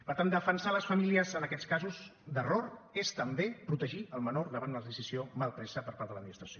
per tant defensar les famílies en aquests casos d’error és també protegir el menor davant d’una decisió mal presa per part de l’administració